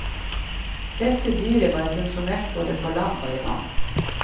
Dette dyret var funksjonelt både på land og i vann.